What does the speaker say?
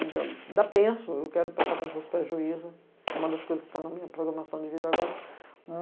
Ainda, ainda penso, eu quero prestar concurso para a juíza, é uma das coisas que está na minha programação de vida agora.